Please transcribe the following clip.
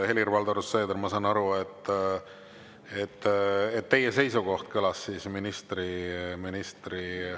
Helir-Valdor Seeder, ma saan aru, et teie seisukoht kõlas ministri …